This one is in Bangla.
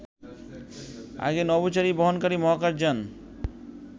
আগে নভোচারী বহনকারী মহাকাশ যান